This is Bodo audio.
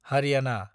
हारियाना